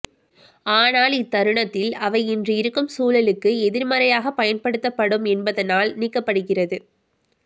ஆனால் இத்தருணத்தில் அவை இன்றிருக்கும் சூழலுக்கு எதிர்மறையாக பயன்படுத்தப்படும் என்பதனால் நீக்கப்படுகிறது